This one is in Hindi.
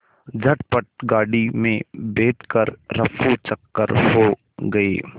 झटपट गाड़ी में बैठ कर ऱफूचक्कर हो गए